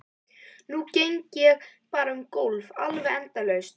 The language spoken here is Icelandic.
Nú geng ég bara um gólf, alveg endalaust.